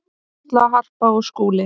Halla, Harpa og Skúli.